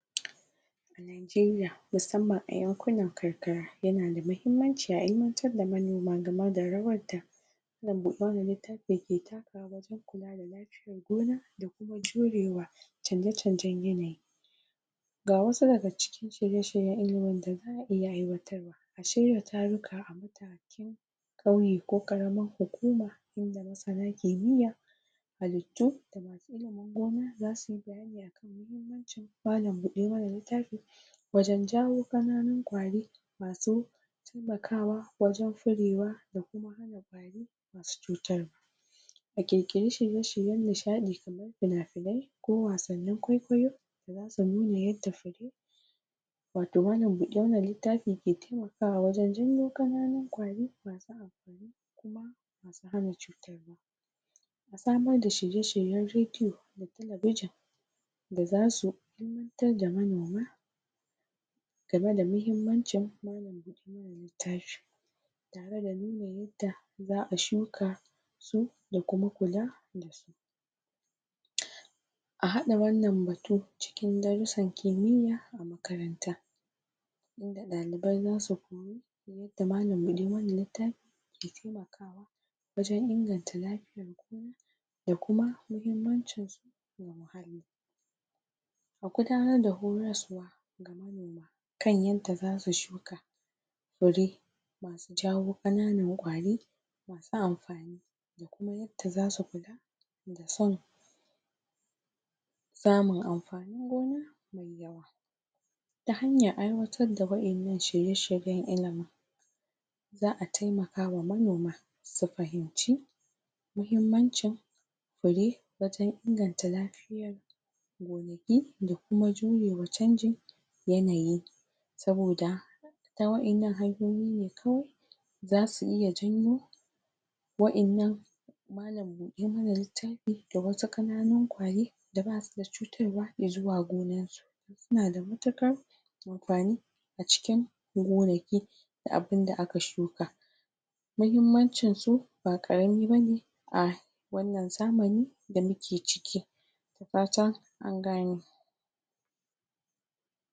A Nigeriya musamman a yankunan karkara yanada muhimmanci a ilimantar da manoma game da rawar da malam buɗa mana littafi ke takawa a gona da jurewa canje canjen yanayi ga wa daga cikin shirye shiryen ilimin da zaʼa iya aiwatarwa a shirya taruka kauye ko ƙaramar hukuma inda masana kimiyya halittu malam buɗe mana littafi wajen jawo ƙananun ƙwari masu taimakawa wajen furewa mu ƙirƙiri shirye shirye nishaɗi kamar fina finai ko wasannin kwaikwayo yanda malam buɗe mana littafi ke taimakawawajen janyo ƙananun ƙwari samar da shirye shiryen radio da talabijin da zasu fitar da manoma game da mukimmancin wannan littafin tare da nuna yadda zaʼa shuka su da kuma kula dasu a haɗa wannan batu cikin darusan kimiya a makaranta inda ɗalibai zasu koyi yanda malam buɗe mana littafi ke wajen inganta lafiyar da kuma muhimmancin sa a gudanar da gudanaswa kan yanda zasu shuka Fure ke jawo ƙananan ƙwari masu amfani da kuma yadda zasu kula da samun amfanin gona me yawa ta hanyar aiwatar da waƴannan shirye shiryen ilimin zaʼa taimakawa manoma su fahimci muhimmancin fure wajen inganta lafiyar gonaki da kuma jurewa canjin yanayi saboda ta waƴannan hanyoyi ne kawai zasu iya janyo waƴannan malam buɗe mana littafi da wasu ƙananun ƙwari da basu da cutarwa izuwa gonar su suna da matuƙar amfani a cikin gonaki da abun da aka shuka muhimmancin su ba ƙarami bane a wannan zamani da muke ciki da fatan an gane